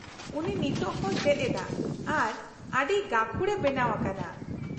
-ᱩᱱᱤ ᱱᱤᱛᱳ ᱦᱚᱸᱭ ᱪᱮᱫ ᱮᱫᱟ ᱟᱨ ᱟᱹᱰᱤ ᱜᱟᱹᱠᱷᱩᱲᱮ ᱵᱮᱱᱟᱣ ᱟᱠᱟᱱᱟ ᱾